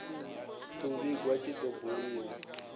u vhiga tshi do buliwa